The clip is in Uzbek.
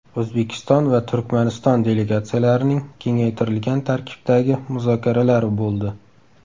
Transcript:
O‘zbekiston va Turkmaniston delegatsiyalarining kengaytirilgan tarkibdagi muzokaralari bo‘ldi.